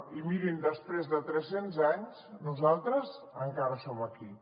i mirin després de tres cents anys nosaltres encara som aquí